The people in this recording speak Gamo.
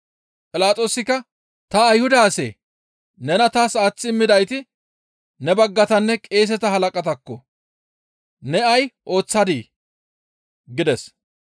Philaxoosikka, «Ta Ayhuda asee? Nena taas aaththi immidayti ne baggatanne qeeseta halaqataakko; ne ay ooththadii?» gides.